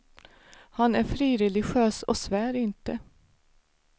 Han är frireligiös och svär inte.